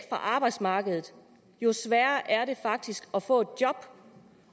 arbejdsmarkedet jo sværere er det faktisk at få et job